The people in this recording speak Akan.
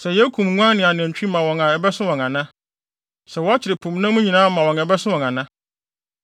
Sɛ yekum nguan ne anantwi ma wɔn a ɛbɛso wɔn ana? Sɛ wɔkyere po mu nam nyinaa ma wɔn a ɛbɛso wɔn ana?”